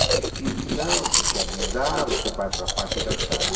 insistiu que não, que quer mudar, você vai para a parte da tarde.